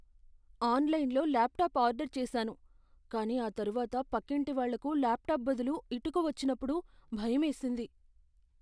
ఆన్లైన్లో laptop order చేసాను, కానీ ఆ తర్వాత పక్కింటివాళ్ళకు ల్యాప్టాప్ బదులు ఇటుక వచ్చినప్పుడు భయమేసింది.